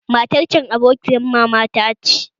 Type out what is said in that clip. Matar can abokiyar mama ta ce